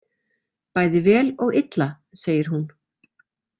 Bæði vel og illa, segir hún.